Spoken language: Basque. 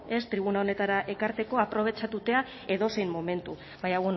tribuna honetara ekarteko aprobetxatuta edozein momentu baina